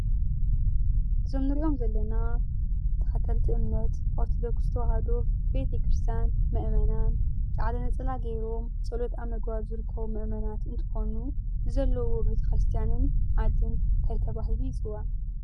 እዞም እንርአዮም ዘለና ተኸተልቲ እምነት ኦርቶዶክስ ተዋሃዶ ቤት ክርስቲያን መእመናን ፃዕዳ ነጸላ ገይሮም ጸሎት ኣብ ምግባር ዝርከቡ ምእመናት እንተኾኑ እቲ ዘለዎ ቤት ክርስቲያንን ዓድን ታይ ተባሂሉ ይፅዋዕ?